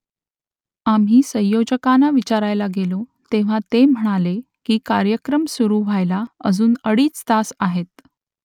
आम्ही संयोजकांना विचारायला गेलो तेव्हा ते म्हणाले की कार्यक्रम सुरू व्हायला अजून अडीच तास आहेत